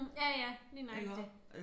Ja ja lige nøjagtig